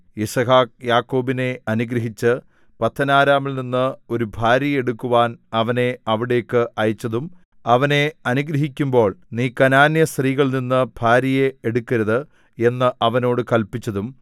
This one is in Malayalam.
യിസ്ഹാക്ക് യാക്കോബിനെ അനുഗ്രഹിച്ച് പദ്ദൻഅരാമിൽനിന്ന് ഒരു ഭാര്യയെ എടുക്കുവാൻ അവനെ അവിടേക്ക് അയച്ചതും അവനെ അനുഗ്രഹിക്കുമ്പോൾ നീ കനാന്യസ്ത്രീകളിൽനിന്നു ഭാര്യയെ എടുക്കരുത് എന്ന് അവനോട് കല്പിച്ചതും